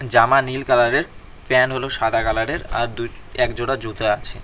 জামা নীল কালারের প্যান হলো সাদা কালারের আর দুই একজোড়া জুতো আছে।